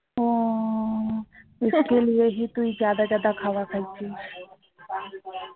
তুই খাওয়া খাচ্ছিস